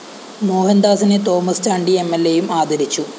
മോഹന്‍ദാസിനെ തോമസ് ചാണ്ടി എംഎല്‍എയും ആദരിച്ചു